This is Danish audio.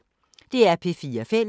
DR P4 Fælles